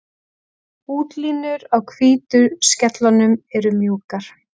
Útlínur á hvítu skellunum eru mjúkar.